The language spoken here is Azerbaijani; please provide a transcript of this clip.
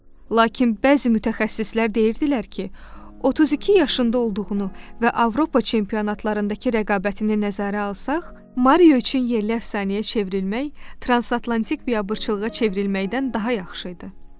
Lakin bəzi mütəxəssislər deyirdilər ki, 32 yaşında olduğunu və Avropa çempionatlarındakı rəqabətini nəzərə alsaq, Mario üçün yerli əfsanəyə çevrilmək, transatlantik biabırçılığa çevrilməkdən daha yaxşı idi.